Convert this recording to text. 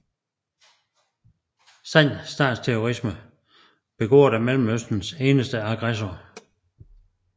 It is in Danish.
Sand statsterrorisme begået af Mellemøstens eneste aggressor